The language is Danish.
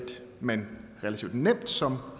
man relativt nemt som